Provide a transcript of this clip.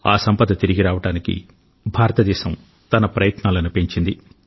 ఆ సంపద తిరిగి రావడానికి భారతదేశం తన ప్రయత్నాలను పెంచింది